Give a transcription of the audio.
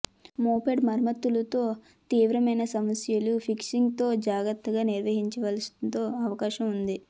moped మరమ్మత్తు తో తీవ్రమైన సమస్యలు ఫిక్సింగ్ తో జాగ్రత్తగా నిర్వహించాల్సి తో అవకాశం ఉంది